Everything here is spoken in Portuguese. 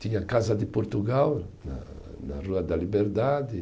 Tinha a Casa de Portugal, na na Rua da Liberdade.